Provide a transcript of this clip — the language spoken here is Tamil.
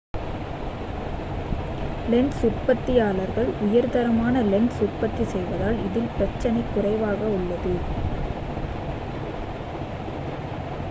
லென்ஸ் உற்பத்தியாளர்கள் உயர்தரமான லென்ஸ் உற்பத்தி செய்வதால் இதில் பிரச்சினை குறைவாக உள்ளது